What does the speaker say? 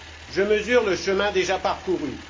Je mesure le chemin déjà parcouru.